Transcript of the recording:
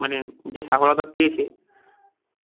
মানে যে সাফলতা পেয়েছে